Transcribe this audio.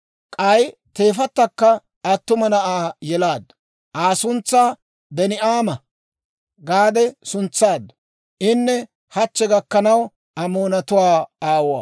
K'ay teefattakka attuma na'aa yelaaddu; Aa suntsaa Ben"aama gaade suntsaaddu; inne hachche gakkanaw Amoonatuwaa aawuwaa.